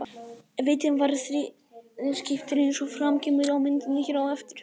Vitinn var þrískiptur eins og fram kemur á myndinni hér á eftir.